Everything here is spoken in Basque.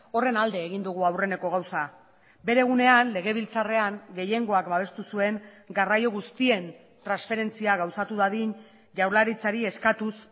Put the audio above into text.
horren alde egin dugu aurreneko gauza bere egunean legebiltzarrean gehiengoak babestu zuen garraio guztien transferentzia gauzatu dadin jaurlaritzari eskatuz